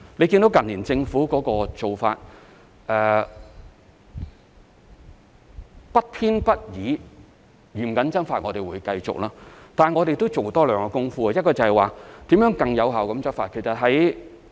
政府近年的做法是不偏不倚、嚴謹執法，我們會繼續這樣做，但我們會多做兩方面的工夫，一方面是如何更有效地執法。